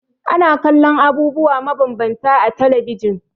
Ana kallon abubuwa mabambanta a talabijin.